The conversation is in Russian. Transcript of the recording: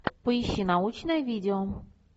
поищи научное видео